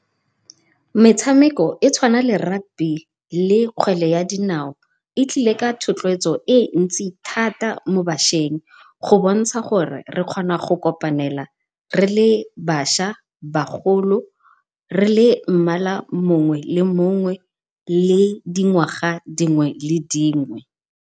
Metshameko e tshwana le rugby le kgwele ya dinao e tlile ka thotloetso e ntsi thata mo bašweng go bontsha gore re kgona go kopanela re le bašwa, bagolo, re le mmala mongwe le mongwe le dingwaga dingwe le dingwe.